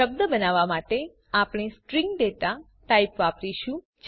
શબ્દ બનાવવા માટે આપણે સ્ટ્રીંગ ડેટા ટાઇપ વાપરીશું